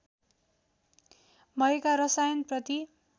भएका रसायन प्रति